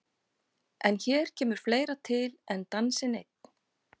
En hér kemur fleira til en dansinn einn.